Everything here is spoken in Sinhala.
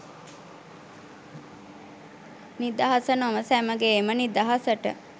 නිදහස නොව සැමගේම නිදහසට